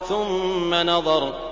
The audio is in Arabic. ثُمَّ نَظَرَ